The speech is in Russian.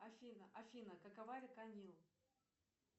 афина афина какова река нил